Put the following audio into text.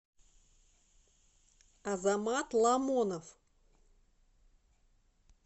азамат ламонов